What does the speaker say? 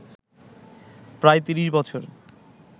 প্রায় ৩০ বছর